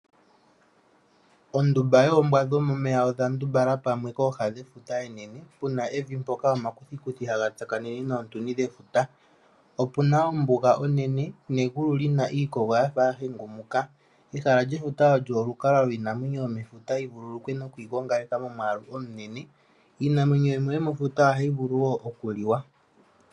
Mefuta omuna iinamwenyo yimwe hakutiwa oombwa dhomomeya. Oombwa dhino ohadhi adhika thimbo limwe dhazamo momeya dhili kooha mpono efuta lyatsakanena nevi. Iinamwenyo yimwe yomefuta ngaashi oohi ohadhi vulu okuliwa.